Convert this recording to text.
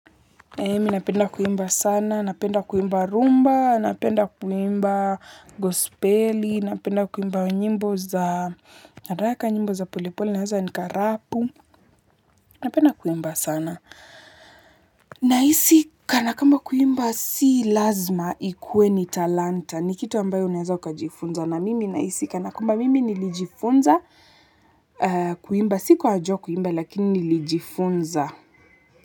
Mi napenda kuimba sana, napenda kuimba rumba, napenda kuimba gosipeli, napenda kuimba za haraka nyimbo za polipoli, niaza nikarapu, napenda kuimba sana. Nahisi kanakamba kuimba si lazima ikuwe ni talanta, ni kitu ambayo unaeza ukajifunza, na mimi nahisi kanakwamba mimi nilijifunza kuimba, si kuwa najua kuimba lakini nilijifunza.